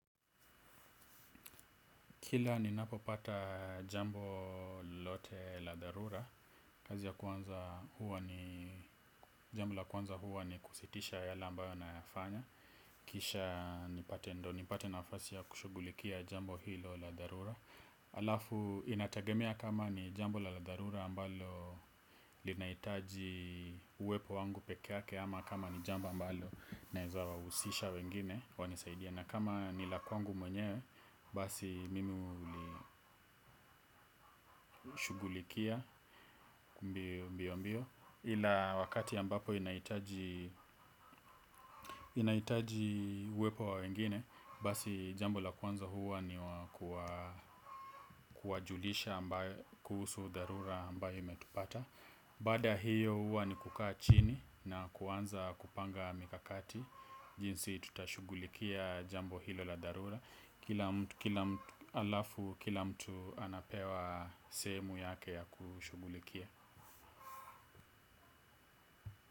Kila ninapopata jambo lolote la dharura, jambo la kwanza huwa ni kusitisha yale ambayo nayafanya. Kisha nipate nafasi ya kushugulikia jambo hilo la dharura. Alafu inatagemea kama ni jambo la dharura ambalo linahitaji uwepo wangu peke yake ama kama ni jambo ambalo naweza wahusisha wengine wanisaidia. Na kama ni la kwangu mwenyewe basi mimi hulishugulikia mbio mbio. Ila wakati ambapo linahitaji linahitaji uepo wa wengine, basi jambo la kwanza huwa ni kuwajulisha kuhusu dharura ambalo limetupata. Baada ya hiyo huwa ni kukaa chini na kuanza kupanga mikakati, jinsi tutashugulikia jambo hilo la dharura. Kila mtu. Kila mtu anapewa sehemu yake ya kushugulikia.